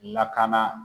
Lakana